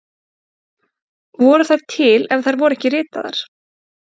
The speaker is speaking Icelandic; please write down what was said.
Voru þær til ef þær voru ekki ritaðar?